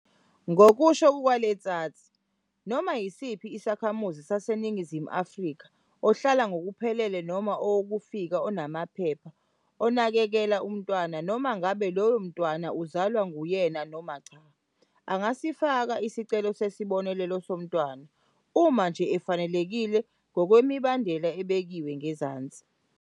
Ngokusho kuka-Letsatsi, noma yisiphi isakhamuzi saseNingizimu Afrika, ohlala ngokuphelele noma owokufika onamaphepha onakekela umntwana, noma ngabe loyo mntwana uzalwa nguyena noma cha, angafaka isicelo sesibonelelo somntwana, uma nje efanelekile ngokwemibandela ebekiwe ngezansi.